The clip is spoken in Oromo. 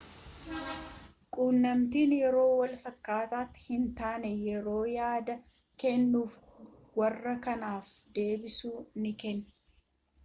quunnamtiin yeroo walfakkaataatti hin taane yeroo yaada kennuufi warra kaaniif deebisuu ni kenna